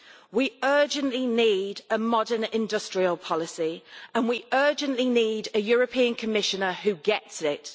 We urgently need a modern industrial policy and we urgently need a European Commissioner who gets it.